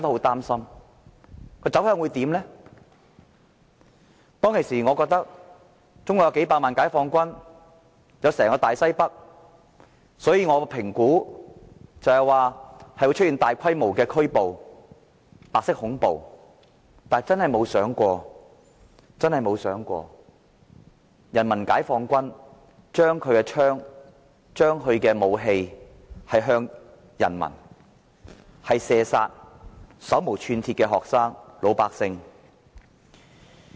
當時，我覺得中國有數百萬名解放軍，有整個大西北，我預期會出現大規模拘捕和白色恐怖，但真的沒有想過人民解放軍將槍和武器對準人民，射殺手無寸鐵的學生和老百姓。